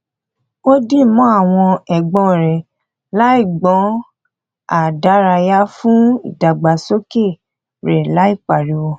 ó di mọ àwọn ẹgbọn rẹ láì gbọn a dárayá fún ìdàgbàsókè rẹ láì pariwo